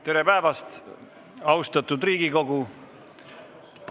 Tere päevast, austatud Riigikogu!